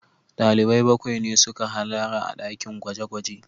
Dalibai bakwai ne suka hallara a dakin gwaje-gwaje